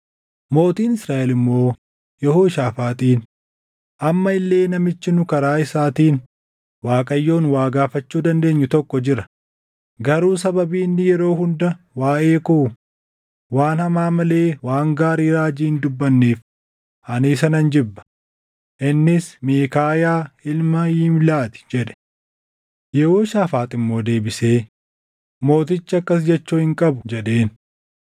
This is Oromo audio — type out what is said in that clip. Mootiin Israaʼel immoo Yehooshaafaaxiin, “Amma illee namichi nu karaa isaatiin Waaqayyoon waa gaafachuu dandeenyu tokko jira; garuu sababii inni yeroo hunda waaʼee koo waan hamaa malee waan gaarii raajii hin dubbanneef ani isa nan jibba. Innis Miikaayaa ilma Yimlaa ti” jedhe. Yehooshaafaax immoo deebisee, “Mootichi akkas jechuu hin qabu” jedheen.